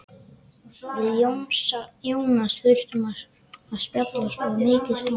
Við Jónas þurftum að spjalla svo mikið saman.